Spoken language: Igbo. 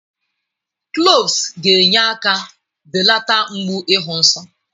Cloves ga-enye aka belata mgbu ịhụ nsọ.